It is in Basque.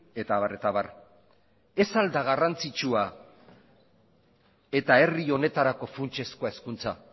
eta abar eta abar ez al da garrantzitsua eta herri honetarako funtsezkoa hezkuntza